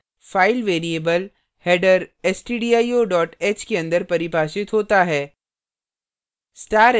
file variable header stdio h के अंदर परिभाषित होता है